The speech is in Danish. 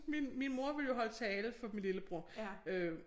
Min min mor ville jo holde tale for min lillebror øh